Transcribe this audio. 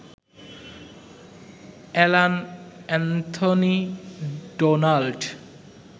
Alan Anthony Donald